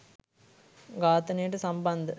ඝාතනයට සම්බන්ධ